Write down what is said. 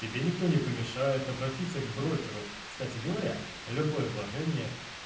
тебе никто не помешает обратиться к брокеру кстати говоря любое вложение